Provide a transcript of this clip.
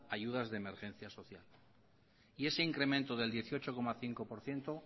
a ayudas de emergencia social y ese incremento del dieciocho coma cinco por ciento